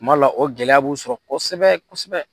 Kuma la o gɛlɛya b'u sɔrɔ kosɛbɛ kosɛbɛ.